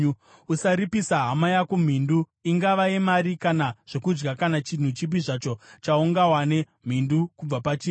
Usaripisa hama yako mhindu, ingava yemari kana zvokudya kana chinhu chipi zvacho chaungawane mhindu kubva pachiri.